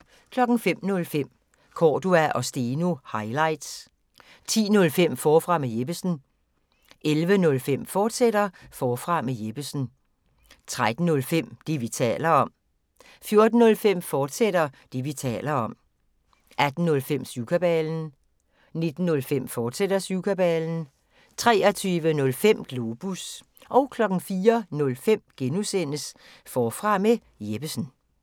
05:05: Cordua & Steno – highlights 10:05: Forfra med Jeppesen 11:05: Forfra med Jeppesen, fortsat 13:05: Det, vi taler om 14:05: Det, vi taler om, fortsat 18:05: Syvkabalen 19:05: Syvkabalen, fortsat 23:05: Globus 04:05: Forfra med Jeppesen (G)